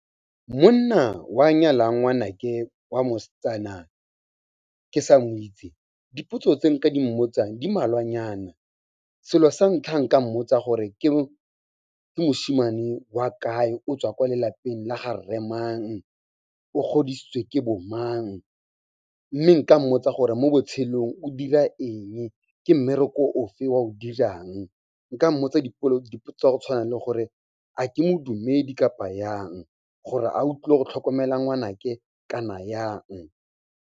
Monna o a nyalang ngwanake wa mosetsana ke sa mo itse, dipotso tse nka di mmotsang di mmalwanyana. Selo sa ntlha nka mmotsa gore ke moshimane wa kae, o tswa ko lelapeng la ga rre mang, o godisitswe ke bo mang, mme nka mmotsa gore mo botshelong o dira eng, ke mmereko o fe o a o dirang. Nka mmotsa dipotso tsa go tshwana le gore, a ke modumedi kapa yang, gore a o tlile go tlhokomela ngwanake kana yang?